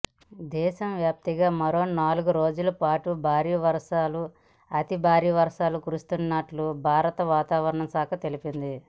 దేశవ్యాప్తంగా మరో నాలుగు రోజులపాటు భారీ నుంచి అతిభారీ వర్షాలు కురువనున్నట్లు భారత వాతావరణ శాఖ తెలిపింది